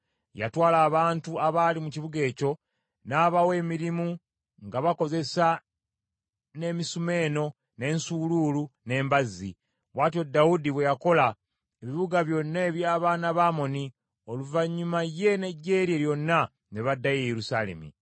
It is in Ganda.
Yatwala abantu abaali mu kibuga ekyo n’abawa emirimu nga bakozesa n’emisumeeno, n’ensuuluulu, n’embazzi. Bw’atyo Dawudi bwe yakola ebibuga byonna eby’abaana ba Amoni, oluvannyuma ye n’eggye lye lyonna ne baddayo e Yerusaalemi.